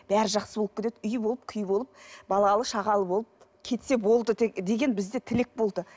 бәрі жақсы болып кетеді үй болып күй болып балалы шағалы болып кетсе болды деген бізде тілек болды